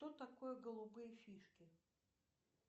что такое голубые фишки